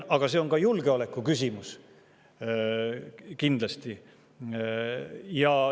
Aga see on ka julgeolekuküsimus, kindlasti.